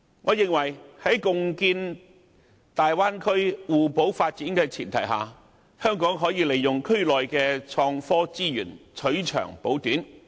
我認為在共建大灣區互補發展的前提下，香港可以利用區內的創科資源，取長補短。